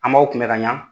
An b'aw kunbɛ ka ɲa